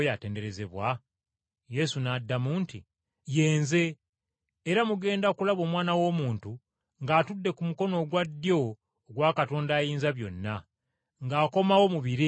Yesu n’addamu nti, “Ye Nze, era mugenda kulaba Omwana w’Omuntu ng’atudde ku mukono ogwa ddyo ogwa Katonda Ayinzabyonna, ng’akomawo mu bire eby’eggulu.”